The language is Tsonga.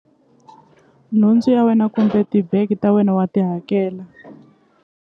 Nhundzu ya wena kumbe tibege ta wena wa ti hakela.